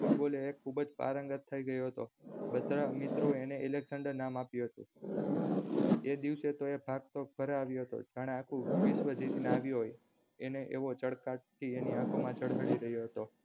football માં એ ખુબજ પારંગત થાય ગયો હતો બધા મિત્રો એ એને અલેકક્ષાંડર નામ આપ્યું હતું એ દિવસે તો ઘરે આવ્યો હતો જાણે આખું વિશ્વ જીતીને આવ્યો હોયને એવો ચળકાટ એની આંખો માં જળહળી રહ્યો હતો